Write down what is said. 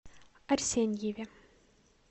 арсеньеве